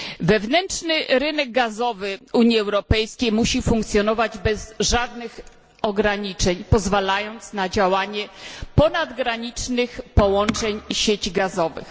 Wewnętrzny rynek gazowy Unii Europejskiej musi funkcjonować bez żadnych ograniczeń, pozwalając na działanie ponadgranicznych połączeń i sieci gazowych.